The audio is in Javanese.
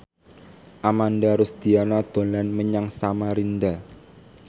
Ananda Rusdiana dolan menyang Samarinda